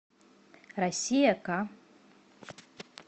россия к